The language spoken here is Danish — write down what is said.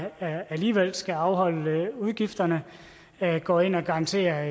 der alligevel skal afholde udgifterne går ind og garanterer